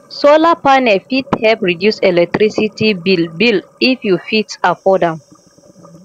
solar panel fit help reduce electricity bill bill if you fit afford am